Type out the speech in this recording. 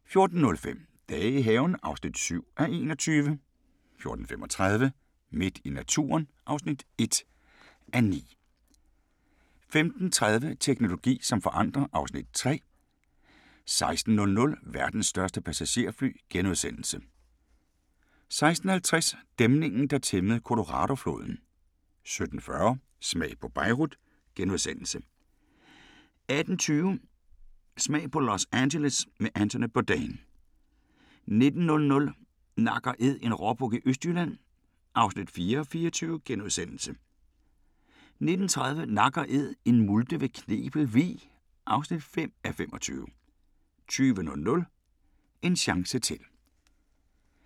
14:05: Dage i haven (7:21) 14:35: Midt i naturen (1:9) 15:30: Teknologi som forandrer (Afs. 3) 16:00: Verdens største passagerfly * 16:50: Dæmningen der tæmmede Coloradofloden 17:40: Smag på Beirut * 18:20: Smag på Los Angeles med Anthony Bourdain 19:00: Nak & Æd – en råbuk i Østjylland (4:24)* 19:30: Nak & Æd – en multe ved Knebel Vig (5:24) 20:00: En chance til